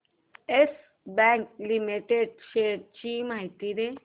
yes bank limited shares ची माहिती दे